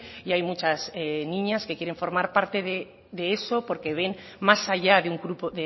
y hay muchas niñas que quieren formar parte de eso porque ven más allá de un grupo